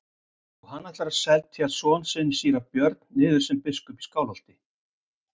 Og hann ætlar að setja son sinn síra Björn niður sem biskup í Skálholti.